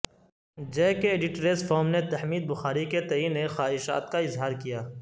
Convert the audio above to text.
جے K editors forum نے تحمید بخاری کے تئیں نیک خواہشات کا اظہار کیا